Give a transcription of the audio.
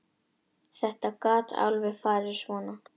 Þetta gat alveg farið svona.